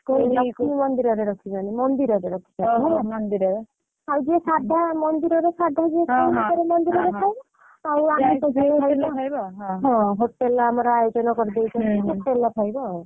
ଲକ୍ଷ୍ମୀ ମନ୍ଦିରରେ ରଖିଛନ୍ତି ମନ୍ଦିରରେ ରଖିଚାନ୍ତି। ଆଉ ଯିଏ ସାଧା ମନ୍ଦିରରେ ସାଧା ଯିଏ ଖାଇବ ଆଉ ଯିଏ ଆମିଷ ଖାଇବ ସେ ଖାଇବ ଆଉ ତାହେଲେ ଆମର ଆୟୋଜନ କରିଦେଇଛନ୍ତି ଖାଇବ ଆଉ।